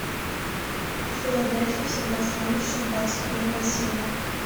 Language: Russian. в филадельфии всегда солнечно двадцать первая серия